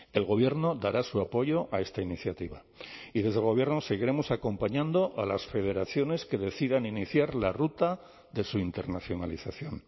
el gobierno dará su apoyo a esta iniciativa y desde el gobierno seguiremos acompañando a las federaciones que decidan iniciar la ruta de su internacionalización